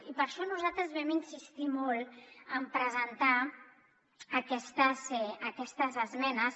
i per això nosaltres vam insistir molt en presentar aquestes esmenes